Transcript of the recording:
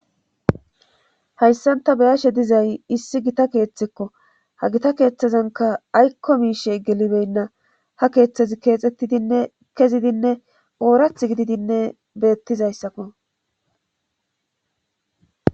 Hayssanta beyashe dizay issi gita keeththekko ha gita keeththezanka aykko miishe gelibeynna ha keeththezi keexxettidinne kezidinne oorath gididinne beettizayssakko